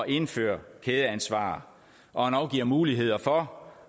indføre kædeansvar og endog giver muligheder for